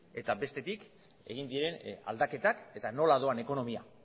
eta bestetik egin diren aldaketak eta nola doan ekonomia